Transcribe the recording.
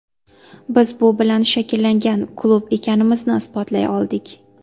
Biz bu bilan shakllangan klub ekanimizni isbotlay oldik.